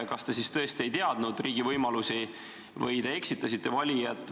Kas te siis tõesti ei teadnud riigi võimalusi või te eksitasite valijat?